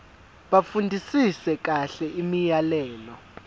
bafundisise kahle imiyalelo